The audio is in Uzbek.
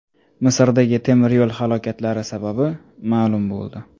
Misrdagi temiryo‘l halokatlari sababi ma’lum bo‘ldi.